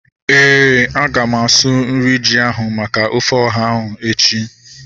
Éè, aga m asụ nri ji ahu maka ofe ọha ahu echi